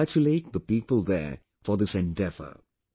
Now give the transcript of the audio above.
I congratulate the people there for this endeavour